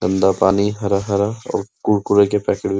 गंदा पानी हरा-हरा और कुरकुरे के पैकेट --